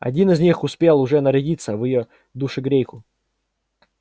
один из них успел уже нарядиться в её душегрейку